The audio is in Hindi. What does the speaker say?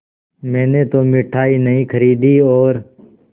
मैंने तो मिठाई नहीं खरीदी और